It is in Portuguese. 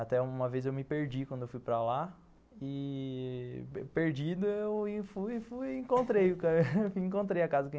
Até uma vez eu me perdi quando fui para lá, e perdido eu fui fui e encontrei a casa